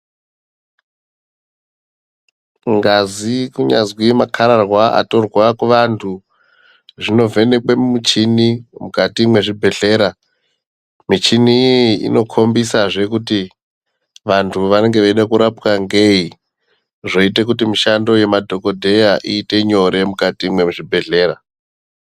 Ngazi kunyazwi makhararwa atorwa kuvantu zvinovhenekwe mumuchini mukati mwezvibhedhlera. Michini iyi inokhombisazve kuti vantu vanenge veida kurapwa ngeyi, zvoite kuti mishando yemadhokodheya iite nyore mukati mwezvibhedhlera.